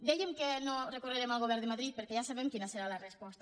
dèiem que no recorrerem al govern de madrid perquè ja sabem quina serà la resposta